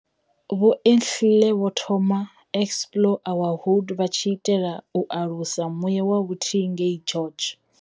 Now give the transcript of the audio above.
Vho Entile vho thoma Explore our Hood vha tshi itela u alusa muya wa vhuthihi ngei George.